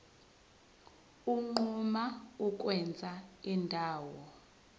unquma ukwenza indawo